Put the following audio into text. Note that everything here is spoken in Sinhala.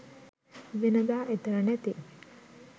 වෙනදා එතන නැති